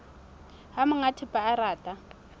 ha monga thepa a rata